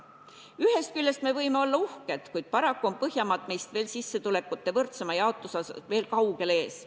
Ühest küljest me võime olla uhked, kuid paraku on Põhjamaad meist veel sissetulekute võrdsema jaotuse poolest kaugel ees.